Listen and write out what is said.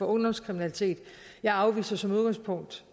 ungdomskriminalitet jeg afviser som udgangspunkt